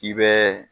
K'i bɛ